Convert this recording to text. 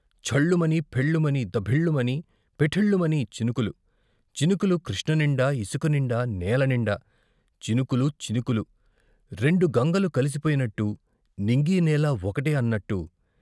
ఛళ్లు మని, ఫెళ్లుమని, దభిల్లుమని, పెఠిల్లుమని చినుకులు, చినుకులు కృష్ణనిండా, ఇసుక నిండా, నెలనిండా, చినుకులు చినుకులు, రెండు గంగలు కలిసిపోయినట్టు, నింగీ నేలా ఒకటే అన్నట్టు.